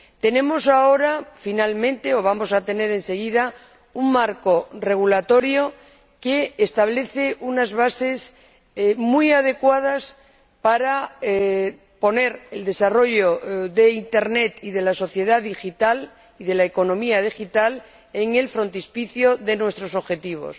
Tenemos ahora, finalmente —o vamos a tener enseguida— un marco regulatorio que establece unas bases muy adecuadas para poner el desarrollo de Internet, de la sociedad digital y de la economía digital en el frontispicio de nuestros objetivos.